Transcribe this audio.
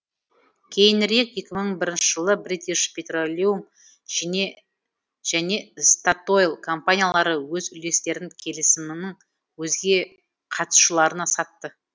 кейінірек екі мың бірінші жылы бритиш петролеум және статойл компаниялары өз үлестерін келісімнің өзге қатысушыларына сатты